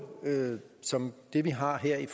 som det vi har her i